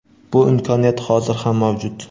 Bu imkoniyat hozir ham mavjud.